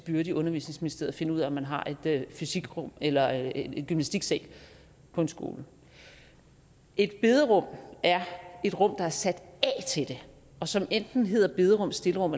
byrde i undervisningsministeriet at finde ud af om man har et fysikrum eller en gymnastiksal på en skole et bederum er et rum der er sat af til det og som enten hedder bederum stillerum